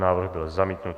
Návrh byl zamítnut.